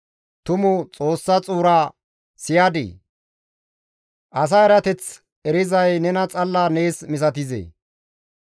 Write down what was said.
Tumu Xoossa xuura siyadii? Asa erateth erizay nena xalla nees misatizee?